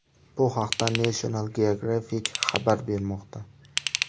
Bu haqda National Geographic xabar bermoqda .